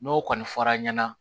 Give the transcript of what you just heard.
N'o kɔni fɔra ɲɛna ɲɛna